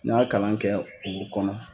N y'a kalan kɛ u kɔnɔ.